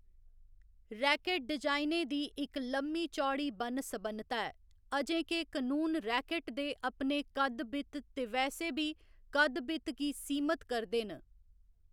Racket डिजाइनें दी इक लम्मी चौड़ी बन्न सबन्नता ऐ, अजें के कनून रैकेट दे अपने कद्द बित ते वैसे बी कद्द बित गी सीमत करदे न।